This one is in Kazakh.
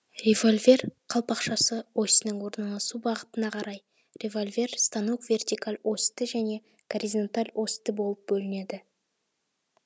револьвер қалпақшасы осінің орналасу бағытына қарай револьвер станок вертикал осьті және горизонталь осьті болып бөлінеді